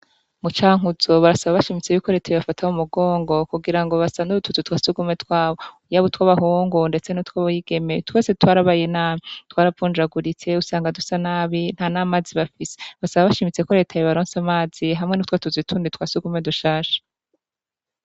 Mu cankuzo, barasaba bashimitse yuko leta yobafata mu mugongo, kugira ngo basanure utuzi twa surwumwe twabo . Yaba utw'abahungu , ndetse n'utw'abigeme, twarabaye nabi. Twaravunjaguritse, usanga dusa nabi nta n'amazi bafise. Basaba bashimitse ko leta yobaronsa amazi hamwe n'utwo tuzu tundi twa surwumwe dushasha.